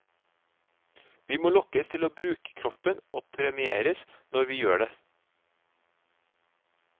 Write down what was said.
Vi må lokkes til å bruke kroppen og premieres når vi gjør det.